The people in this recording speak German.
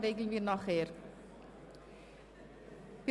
Dies wird noch bilateral geklärt.